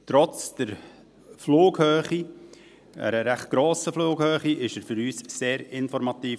Trotz einer recht grossen Flughöhe war er für uns sehr informativ.